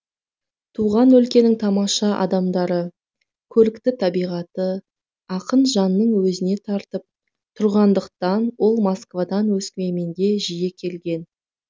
туған өлкенің тамаша адамдары көрікті табиғаты ақын жанын өзіне тартып тұрғандықтан ол москвадан өскеменге жиі келген